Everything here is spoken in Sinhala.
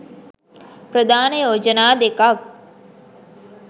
ප්‍රධාන යෝජනා දෙකක්